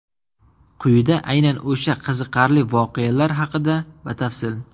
Quyida aynan o‘sha qiziqarli voqealar haqida batafsil.